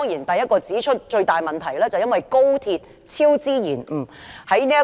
首要指出的最大問題，是高鐵超支延誤。